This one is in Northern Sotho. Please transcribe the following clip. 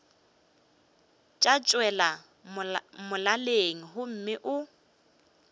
tša tšwela molaleng gomme o